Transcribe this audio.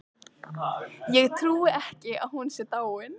Ég trúi ekki að hún sé dáin.